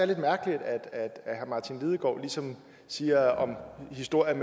lidt mærkeligt at herre martin lidegaard ligesom siger om historien